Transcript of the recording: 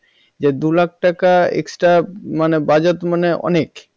যে দু লাখ টাকা extra মানে budget মানে অনেক